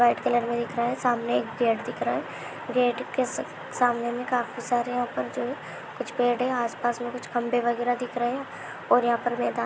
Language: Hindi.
व्हाइट कलर मे दिख रहा है सामने एक गेट दिख रहा है गेट के सामने मे काफी सारे यहाँ पर जो कुछ पेड़ है आसपास मे कुछ खंभे वगेरा दिख रहे है। और यहाँ पे मैदा--